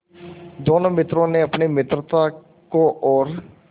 दोनों मित्रों ने अपनी मित्रता को और